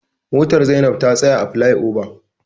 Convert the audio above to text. Motar Zainab ta tsaya a flai oba.